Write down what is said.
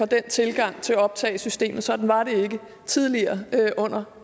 den tilgang til optagelsessystemet sådan var det ikke tidligere under